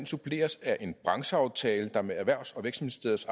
suppleres af en brancheaftale der med erhvervs og vækstministeriets